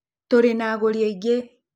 Tũrĩ na agũri aingĩ.